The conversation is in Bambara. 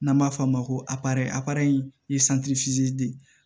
N'an b'a f'o ma ko apara ayi de